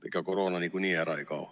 Ega koroona niikuinii ära ei kao.